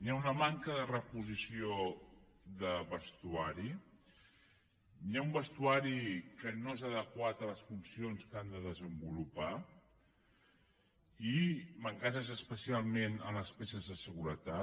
hi ha una manca de reposició de vestuari hi ha un vestuari que no és adequat a les funcions que han de desenvolupar i mancances especialment en les peces de seguretat